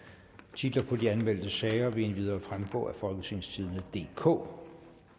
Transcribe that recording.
titlerne på de anmeldte sager vil endvidere fremgå af folketingstidende DK